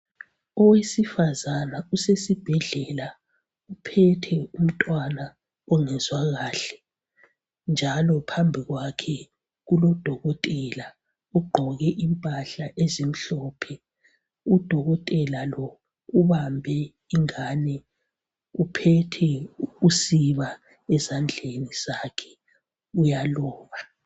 Owesifazana usesibhedlela uphethe umntwana ongezwa kahle .Njalo phambi kwakhe kulodokotela ogqoke impahla ezimhlophe .Udokotela lo ubambe ingane uphethe usiba ezandleni zakhe uyaloba .